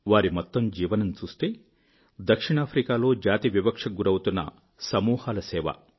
వారి మొత్తం జీవనం చూస్తే దక్షిణాఫ్రికా లో జాతివివక్షకు గురి అవుతున్న సమూహాల సేవ